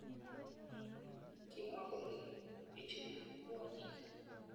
Kimwa kole ijube kwonyik.